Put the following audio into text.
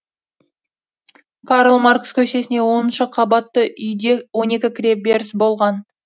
карл маркс көшесінде оныншы қабатты үйде он екі кіреберіс болған